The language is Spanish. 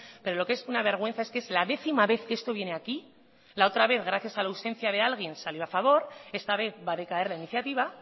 pero lo que es una vergüenza es que es la décima vez que esto viene aquí la otra vez gracias a la ausencia de alguien salió a favor esta vez va a decaer la iniciativa